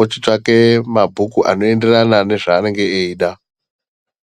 ochitsvake mabhuku anoenderanaa nezvaanenge eida.